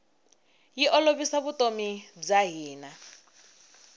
yi olovisa vutomi bya hina